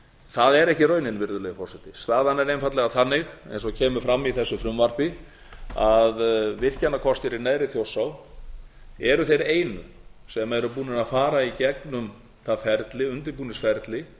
það er ekki raunin virðulegi forseti staðan er einfaldlega þannig eins og kemur fram í þessu frumvarpi að virkjanakostir í neðri þjórsá eru þeir einu sem eru búnir að fara í gegnum það ferli undirbúningsferli